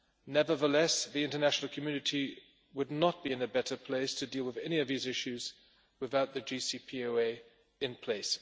Nevertheless, the international community would not be in a better place to deal with any of these issues without the JCPOA in place.